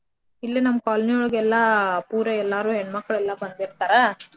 ಇಲ್ಲೆ ನಮ್ colony ಒಳಗ್ ಎಲ್ಲಾ ಪೂರ ಎಲ್ಲಾರು ಹೆಣ್ಮಕ್ಳೆಲ್ಲಾ ಬಂದಿರ್ತಾರಾ.